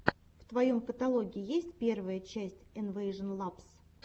в твоем каталоге есть первая часть инвэйжон лабс